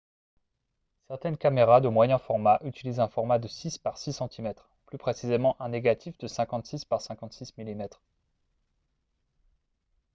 certaines caméras de moyen format utilisent un format de 6 par 6 cm plus précisément un négatif de 56 par 56 mm